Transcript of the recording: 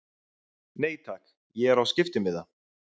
Nei takk, ég er á skiptimiða.